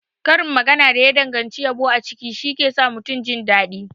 Karin magana da ya danganci yabo a ciki shike sa mutum jindaɗi.